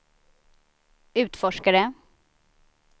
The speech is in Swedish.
utforskare